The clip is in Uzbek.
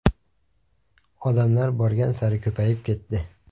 Odamlar borgan sari ko‘payib ketdi.